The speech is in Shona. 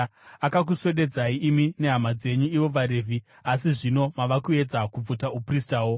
Akakuswededzai imi nehama dzenyu ivo vaRevhi, asi zvino mava kuedza kubvuta upristawo.